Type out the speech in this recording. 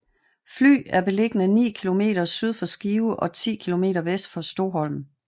Fly er beliggende ni kilometer syd for Skive og 10 kilometer vest for Stoholm